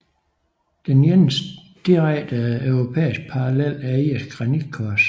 Den eneste direkte europæiske parallel er irske granitkors